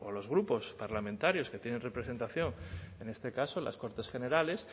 los grupos parlamentarios que tienen representación en este caso en las cortes generales